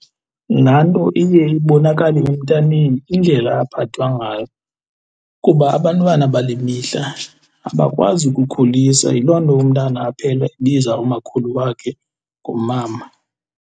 Nanto iye ibonakale emntaneni indlela aphathwa ngayo kuba abantwana bale mihla abakwazi ukukhulisa. Yiloo nto umntana aphele ebiza umakhulu wakhe ngomama.